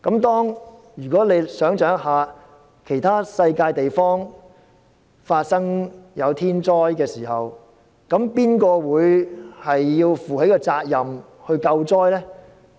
大家試想象，當世上其他地方發生天災時，誰會負責救災呢？